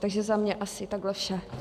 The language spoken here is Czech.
Takže za mě asi takhle vše.